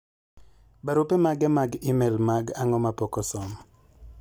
barupe mage mag email mag an'go ma pok osom